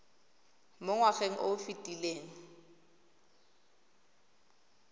mo ngwageng o o fetileng